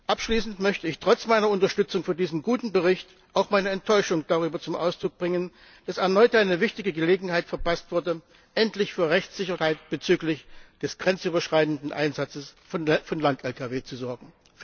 Abschließend möchte ich trotz meiner Unterstützung für diesen guten Bericht auch meine Enttäuschung darüber zum Ausdruck bringen, dass erneut eine wichtige Gelegenheit verpasst wurde, endlich für Rechtssicherheit bezüglich des grenzüberschreitenden Einsatzes von Lang Lkws zu sorgen.